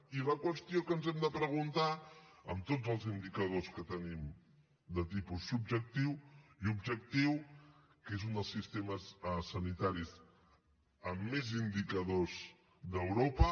i la qüestió que ens hem de preguntar amb tots els indicadors que tenim de tipus subjectiu i objectiu que és un dels sistemes sanitaris amb més indicadors d’europa